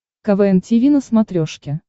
квн тиви на смотрешке